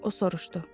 O soruşdu.